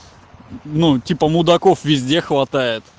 ну типа мудаков везде хватает